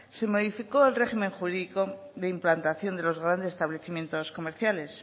se modificó el régimen jurídico de implantación de los grandes establecimientos comerciales